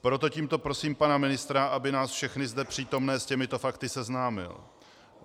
Proto tímto prosím pana ministra, aby nás všechny zde přítomné s těmito fakty seznámil.